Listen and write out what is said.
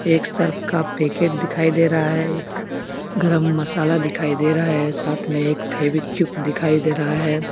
एक सर्फ का पैकेट दिखाई दे रहा है एक गरम मसाला दिखाई दे रहा है साथ में एक फेविक्विक दिखाई दे रहा है।